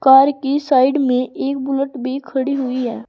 Car की side में एक बुलट भी खड़ी हुई है।